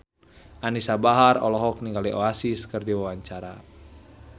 Anisa Bahar olohok ningali Oasis keur diwawancara